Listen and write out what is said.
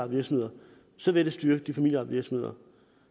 virksomheder så vil det styrke de familieejede virksomheder